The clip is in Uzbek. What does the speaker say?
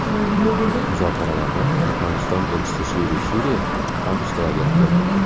Muzokaralarda Turkmaniston Elchisi Shiri Shiriyev ham ishtirok etdi.